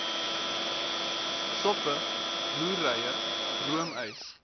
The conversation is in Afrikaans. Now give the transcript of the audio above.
soppe roereier roomys